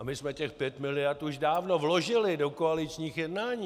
A my jsme těch pět miliard už dávno vložili do koaličních jednání.